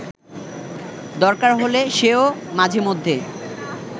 দরকার হলে সে-ও মাঝেমধ্যে